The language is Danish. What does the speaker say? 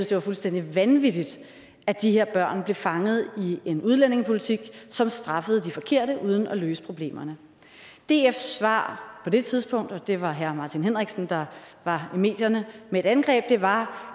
det var fuldstændig vanvittigt at de her børn blev fanget i en udlændingepolitik som straffede de forkerte uden at løse problemerne dfs svar på det tidspunkt og det var herre martin henriksen der var i medierne med et angreb var